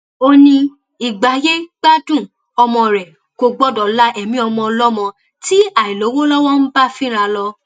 ó ní ìgbáyégbádùn ọmọ rẹ kò gbọdọ la ẹmí ọmọ ọlọmọ tí àìlówó lowó ń bá fínra lọ